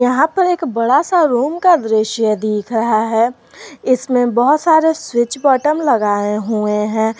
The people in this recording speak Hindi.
यहां पर एक बड़ा सा रूम का दृश्य दिख रहा है इसमें बहुत सारे स्विच बटम लगाए हुए हैं।